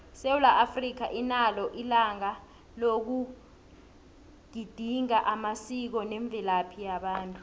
isewula africa inalo ilanga loku gedinga amasiko nemvelaphi yabantu